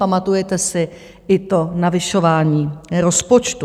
Pamatujete si i to navyšování rozpočtu.